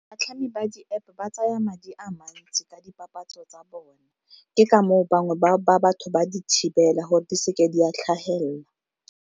Batlhami ba di-App ba tsaya madi a mantsi ka dipapatso tsa bone, ke ka moo bangwe ba batho ba di thibela gore di seke di a tlhagelela.